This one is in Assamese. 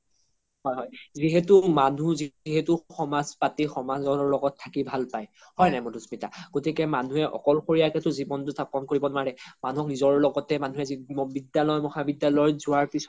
হয় হয় যিহেতু মনুহ যিহেতু সমাজ পাতি সমাজৰ লগত থাকি ভাল পাই হয় নাই মাধুস্মিতা গতিকে মানুহে অকল সৰিয়াকে তো জিৱ্নতো জাপন কৰিব নোৱাৰে মানুহ নিজৰ লগতে বিদ্যালয়ৰ মহা বিদ্যালয়ৰত যোৱাৰ পিছ্ত